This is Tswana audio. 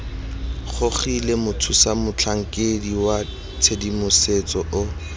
gogilwe mothusamotlhankedi wa tshedimosetso o